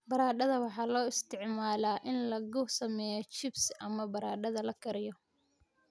Baradhada waxaa loo isticmaalaa in lagu sameeyo chips ama baradhada la kariyo.